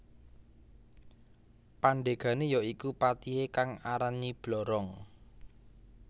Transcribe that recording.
Pandegane ya iku patihe kang aran Nyi Blorong